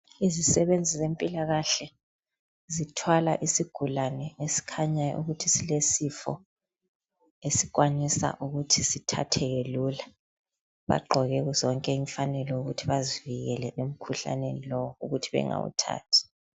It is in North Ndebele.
Izisebenzi zempilakahle zithwala isigulane esikhanya ukuthi silesifo esikwanisa ukuthi sithatheke lula. Baqoke zonke imfanelo ukuthi bazivikele emkhuhlaneni lowo ukuthi bengawuthathi.